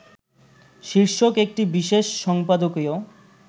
শীর্ষক একটি বিশেষ সম্পাদকীয়